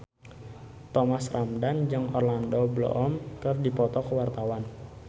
Thomas Ramdhan jeung Orlando Bloom keur dipoto ku wartawan